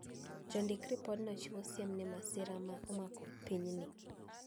Jondik ripodno chiwo siem ni masira ma omako piny ni